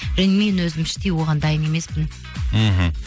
және мен өзім іштей оған дайын емеспін мхм